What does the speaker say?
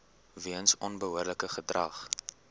weens onbehoorlike gedrag